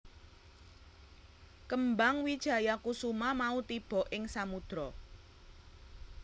Kembang wijayakusuma mau tiba ing samudra